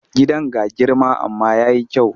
Gidan ga girma amma ya yi kyau.